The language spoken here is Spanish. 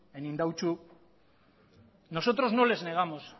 en indautxu nosotros no les negamos